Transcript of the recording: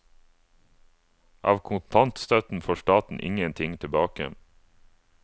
Av kontantstøtten får staten ingenting tilbake.